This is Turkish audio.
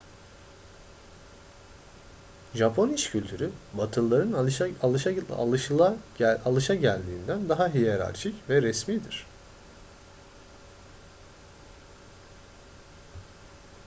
japon iş kültürü batılıların alışageldiğinden daha hiyerarşik ve resmidir